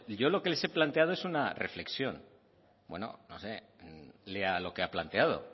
yo lo que les he planteado es una reflexión bueno no sé lea lo que ha planteado